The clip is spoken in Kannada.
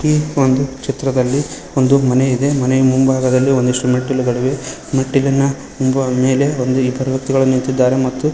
ಈ ಒಂದು ಚಿತ್ರದಲ್ಲಿ ಒಂದು ಮನೆ ಇದೆ ಮನೆಯ ಮುಂಭಾಗದಲ್ಲಿ ಒಂದಷ್ಟು ಮೆಟ್ಟಿಲುಗಳು ಇವೆ ಮೆಟ್ಟಿಲನ್ನ ಮೇಲೆ ಒಂದು ಇಬ್ಬರು ವ್ಯಕ್ತಿಗಳು ನಿಂತಿದ್ದಾರೆ ಮತ್ತು--